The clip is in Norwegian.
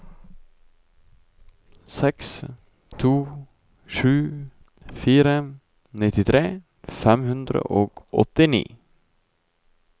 seks to sju fire nittitre fem hundre og åttini